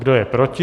Kdo je proti?